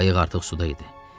Qayıq artıq suda idi.